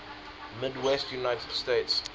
midwestern united states